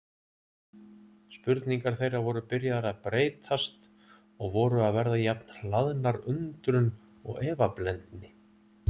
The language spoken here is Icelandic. Spurningar þeirra voru byrjaðar að breytast og voru að verða jafn hlaðnar undrun og efablendni.